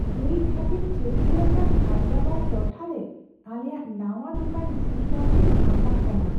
ᱠᱟᱹᱭ ᱠᱷᱟᱹᱛᱤᱨ ᱪᱷᱟᱹᱴᱭᱟᱹᱨ ᱟᱠᱟᱱ ᱦᱟᱭᱫᱨᱟᱵᱟᱫᱽ ᱴᱚᱴᱷᱟᱨᱮ ᱟᱞᱮᱭᱟᱜ ᱱᱟᱶᱟ ᱫᱳᱠᱟᱱ ᱡᱷᱤᱡ ᱵᱟᱨᱮᱛᱤᱧ ᱵᱷᱟᱵᱽᱱᱟᱜ ᱠᱟᱱᱟ ᱾